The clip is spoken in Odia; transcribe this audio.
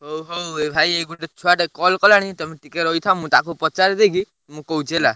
ହଉ, ହଉ, ଏଇ ଭାଇ, ଏଇ ଗୋଟେ ଛୁଆ ଟେ call କଲାଣି, ତମେ ଟିକେ ରହିଥାଅ, ମୁଁ ତାକୁ ପଚାରିଦେଇକି, ମୁଁ କହୁଛି ହେଲା।